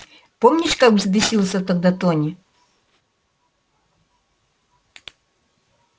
помнишь как взбесился тогда тони